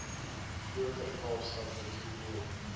groter kaapstad metropool